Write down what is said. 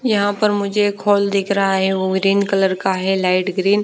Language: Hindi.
यहाँ पर मुझे एक हॉल दिख रहा है वो ग्रीन कलर का है लाइट ग्रीन --